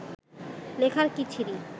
লেখার কী ছিরি